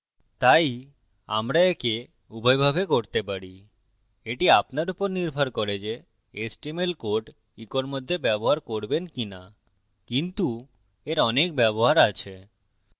তাই আমরা echo উভয়ভাবে করতে পারি এটি আপনার উপর নির্ভর করে যে html code echo মধ্যে ব্যবহার করবেন কি so কিন্তু এর অনেক ব্যবহার আছে